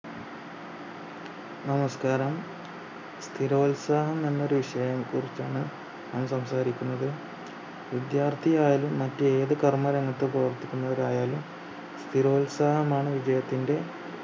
നമസ്കാരം സ്ഥിരോത്സാഹം എന്ന ഒരു വിഷയത്തെ കുറിച്ചാണ് ഞാൻ സംസാരിക്കുന്നത് വിദ്യാർത്ഥിയായാലും മറ്റേത് കർമ്മ രംഗത്തു പ്രവർത്തിക്കുന്നവരായാലും സ്ഥിരോത്സാഹമാണ് വിജയത്തിന്റെ